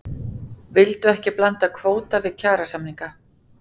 Vildu ekki blanda kvóta við kjarasamninga